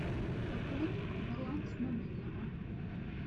пополнить баланс мобильного